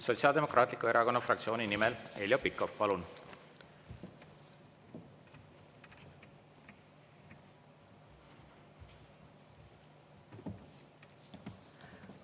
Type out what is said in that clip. Sotsiaaldemokraatliku Erakonna fraktsiooni nimel Heljo Pikhof, palun!